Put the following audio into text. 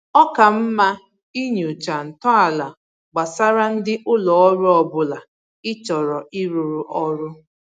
Ọ ka mma inyocha ntọala gbasara ndị ụlọ ọrụ ọbụla ị chọrọ ịrụrụ ọrụ